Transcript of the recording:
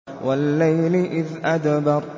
وَاللَّيْلِ إِذْ أَدْبَرَ